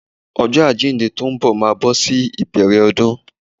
Ọjọ́ àjíǹde tó ń bọ̀ máa bọ́ sí ìbẹ̀rẹ̀ ọdún.